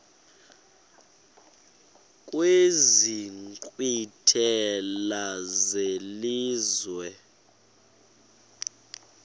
kwezi nkqwithela zelizwe